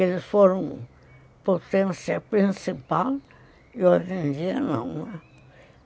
Eles foram potência principal e hoje em dia não.